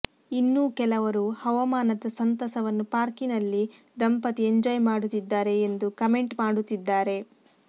ಇನ್ನೂ ಕೆಲವರು ಹವಾಮಾನದ ಸಂತಸವನ್ನು ಪಾರ್ಕಿನಲ್ಲಿ ದಂಪತಿ ಎಂಜಾಯ್ ಮಾಡುತ್ತಿದ್ದಾರೆ ಎಂದು ಕಮೆಂಟ್ ಮಾಡುತ್ತಿದ್ದಾರೆ